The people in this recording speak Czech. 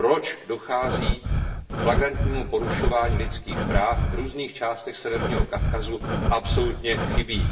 proč dochází k flagrantnímu porušování lidských práv v různých částech Severního Kavkazu, absolutně chybí.